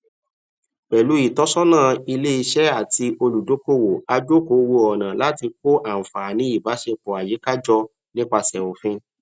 pẹlú ìtọsọnà iléiṣẹ àti olùdókòwò a jòkó wo ọnà láti kó ànfààní ìbáṣepọ àyíká jọ nípasẹ òfin